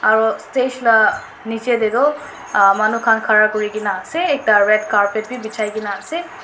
aro stage la nichae tae toh ah manu khan khara kurikaena ase ekta red carpet bi bijai kaena ase.